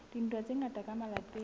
a dintwa tsa ka malapeng